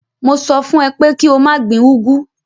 Mo sọ fún ẹ pé kí o má gbin úgwú.